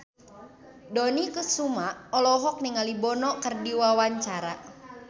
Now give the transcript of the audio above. Dony Kesuma olohok ningali Bono keur diwawancara